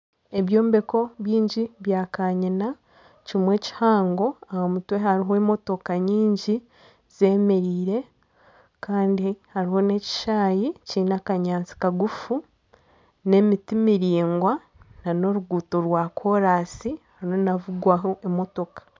Ebyombeko bingi bya kanyina kimwe kihango aha mutwe hariho emotoka nyingi zeemereire kandi hariho n'ekishaayi kiine akanyaatsi kagufu n'emiti miraingwa nana oruguuto rwakoraasi hariyo nihavugwaho emotoka